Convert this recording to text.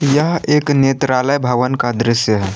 यह एक नेत्रालय भवन का दृश्य है।